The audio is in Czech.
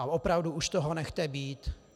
A opravdu už toho nechte být.